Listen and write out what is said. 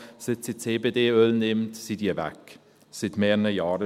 Seit sie CBD-Öl nimmt, sind diese weg – schon seit mehreren Jahren.